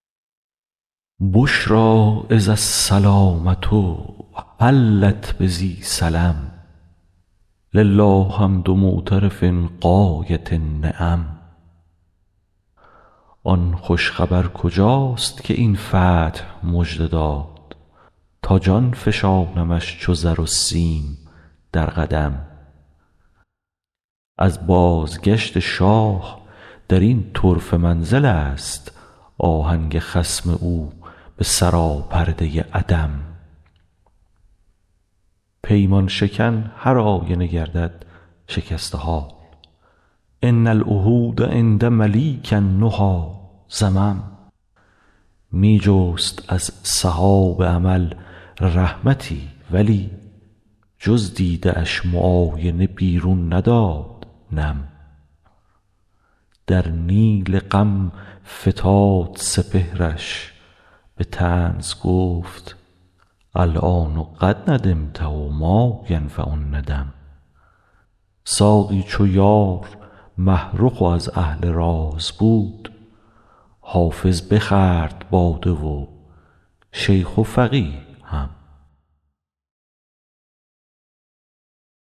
بشری اذ السلامة حلت بذی سلم لله حمد معترف غایة النعم آن خوش خبر کجاست که این فتح مژده داد تا جان فشانمش چو زر و سیم در قدم از بازگشت شاه در این طرفه منزل است آهنگ خصم او به سراپرده عدم پیمان شکن هرآینه گردد شکسته حال ان العهود عند ملیک النهی ذمم می جست از سحاب امل رحمتی ولی جز دیده اش معاینه بیرون نداد نم در نیل غم فتاد سپهرش به طنز گفت الآن قد ندمت و ما ینفع الندم ساقی چو یار مه رخ و از اهل راز بود حافظ بخورد باده و شیخ و فقیه هم